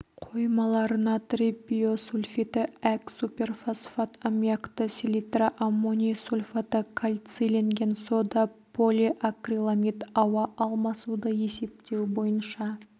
қоймалар натрий бисульфиті әк суперфосфат аммиакты селитра аммоний сульфаты кальцийленген сода полиакриламид ауа алмасуды есептеу бойынша